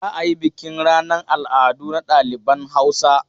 Za a yi bukin ranan al'adu na ɗaliban Hausa.